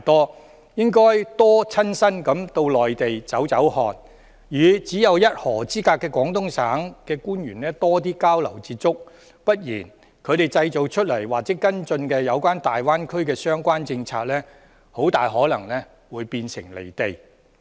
他們應該多親身到內地走走看看，與只有一河之隔的廣東省官員多作交流、接觸；不然的話，他們制訂或跟進有關大灣區的相關政策，很可能會變得"離地"。